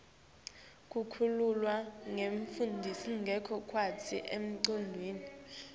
kukhululwa kwebafundzi ngekhatsi etikudlweni